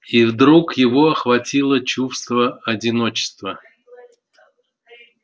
и вдруг его охватило чувство одиночества